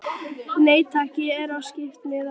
Nei takk, ég er á skiptimiða.